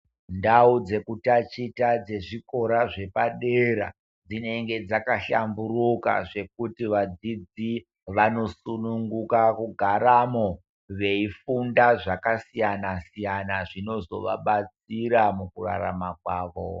Ndau dzekutachita dzezvikora zvepadera-dzinenge dzakahlamburuka zvekuti vadzidzisi vanosununguka kugaramo veifunda zvakasiyana-siyana zvinozovabatsira mukurarama kwavo.